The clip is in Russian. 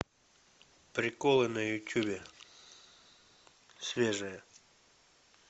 приколы на ютюбе свежие